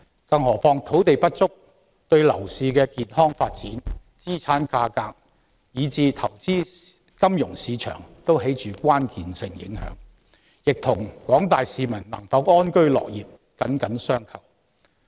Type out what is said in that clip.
更何況，土地不足對樓市的健康發展、資產價格以至投資金融市場均有關鍵性影響，亦與廣大市民能否安居樂業緊緊相扣。